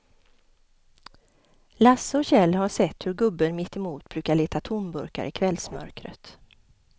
Lasse och Kjell har sett hur gubben mittemot brukar leta tomburkar i kvällsmörkret.